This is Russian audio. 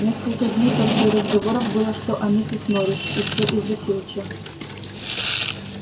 несколько дней только и разговоров было что о миссис норрис и всё из-за филча